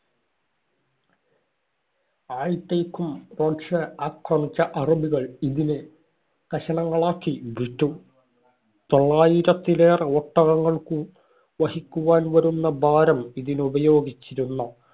Rose ആക്രമിച്ച അറബികൾ ഇതിനെ കഷണങ്ങളാക്കി വിറ്റു. തൊള്ളായിരത്തിലേറെ ഒട്ടകങ്ങൾക്കു വഹിക്കുവാൻ വരുന്ന ഭാരം ഇതിനുപയോഗിച്ചിരുന്ന